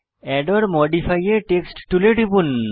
add or modify a text টুলে টিপুন